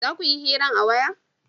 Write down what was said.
za kuyi hiran a waya?